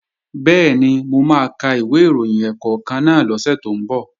Bẹ́ẹ̀ni, mo máa ka ìwé ìròyìn ẹ̀ẹ̀kọ̀kan náà lọ́sẹ̀ tó ń bọ̀